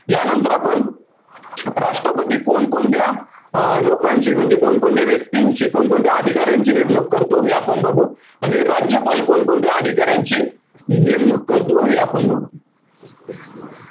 यांनतर आपण, राष्ट्रपती कोणकोणत्या, अं लोकांशी म्हणजे कोणकोणत्या व्यक्तींशी, कोणकोणत्या अधिकाऱ्यांची नेमणूक करतो, हे आपण बघू. आणि राज्यपाल कोणकोणत्या अधिकाऱ्यांची नेमणूक करतो हे आपण बघू.